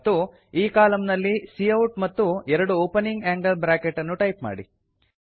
ಮತ್ತು ಈ ಕಾಲಮ್ ನಲ್ಲಿ ಕೌಟ್ ಮತ್ತು ಎರಡು ಒಪನಿಂಗ್ ಆಂಗಲ್ ಬ್ರಾಕೆಟ್ ಅನ್ನು ಟೈಪ್ ಮಾಡಿ